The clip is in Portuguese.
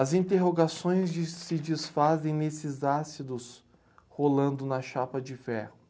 As interrogações des, se desfazem nesses ácidos rolando na chapa de ferro.